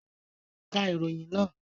Ka ìròyìn náà!